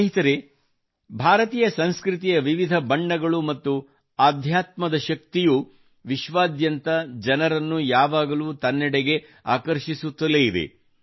ಸ್ನೇಹಿತರೇ ಭಾರತೀಯ ಸಂಸ್ಕೃತಿಯ ವಿವಿಧ ಬಣ್ಣುಗಳು ಮತ್ತು ಆಧ್ಯಾತ್ಮದ ಶಕ್ತಿಯು ವಿಶ್ವಾದ್ಯಾಂತ ಜನರನ್ನು ಯಾವಾಗಲೂ ತನ್ನೆಡೆಗೆ ಆಕರ್ಷಿಸುತ್ತಲೇ ಇದೆ